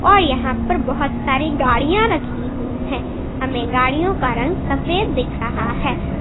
और यहां पर बहुत सारी गाड़ियां रखी हुई है हमें गाड़ियों का रंग सफेद दिख रहा है।